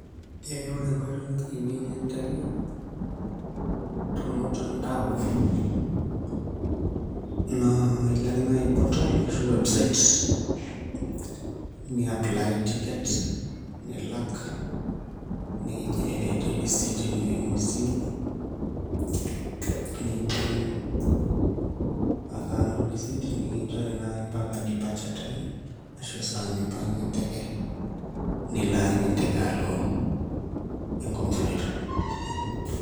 Ee ore enkoitoi najingieki enteke tormutandao naa iloake nai portal ashu website niapply ticket , nilak nigenerate receipt teine ,neimu esimu , nitum ake anoto ereceipt nikinchori nai mpaka departure time ashu esaa nipang enteke, nilo ajing enteke alo enkop niloito.